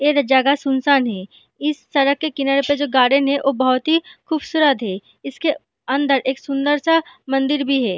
Era जगह है सुनसान है इस सड़क के किनारे पे जो गार्डन है वो बहुत ही खूबसूरत है इसके अंदर एक सुंदर सा मन्दिर भी है।